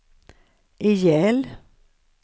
ihjäl